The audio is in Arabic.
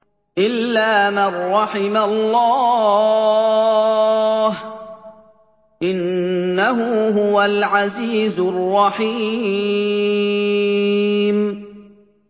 إِلَّا مَن رَّحِمَ اللَّهُ ۚ إِنَّهُ هُوَ الْعَزِيزُ الرَّحِيمُ